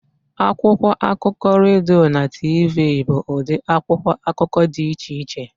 Akwụkwọ akụkọ, redio na TV bụ ụdị akwụkwọ akụkọ dị iche iche